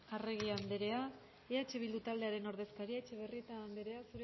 arregi andrea eh bildu taldearen ordezkaria etxebarrieta andrea